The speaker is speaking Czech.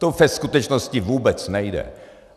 To ve skutečnosti vůbec nejde.